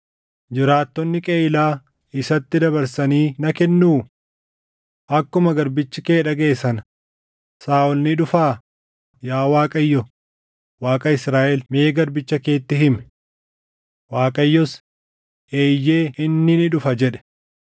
Jiraattonni Qeyiilaa isatti dabarsanii na kennuu? Akkuma garbichi kee dhagaʼe sana Saaʼol ni dhufaa? Yaa Waaqayyo Waaqa Israaʼel mee garbicha keetti himi.” Waaqayyos, “Eeyyee inni ni dhufa” jedhe.